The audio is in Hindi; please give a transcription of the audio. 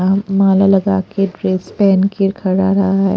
अ अ माला लगा के ड्रेस पहन के खड़ा रहा है।